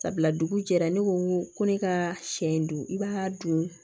Sabula dugu jɛra ne ko ko ne ka sɛ in dun i b'a dun